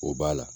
O b'a la